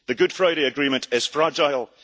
The Good Friday Agreement is fragile